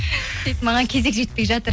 маған кезек жетпей жатыр